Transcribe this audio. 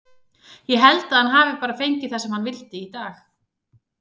Ég held að hann hafi bara fengið það sem hann vildi í dag.